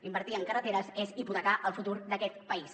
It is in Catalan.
invertir en carreteres és hipotecar el futur d’aquest país